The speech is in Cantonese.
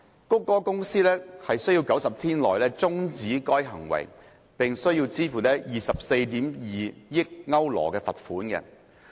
谷歌公司須於90天內終止該行為，並須支付 24.2 億歐羅罰款。